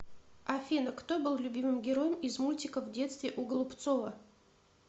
афина кто был любимым героем из мультика в детстве у голубцова